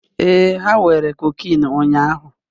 Ee, ha were cocaine ụnyahụ